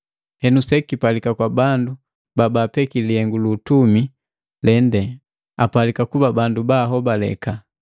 Henu sekipalika kwa bandu babaapeki lihengu lu utumi lende apalika kuba baahobaleka.